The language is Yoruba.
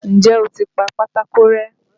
N jẹ́ o ti pa pátákó rẹ́?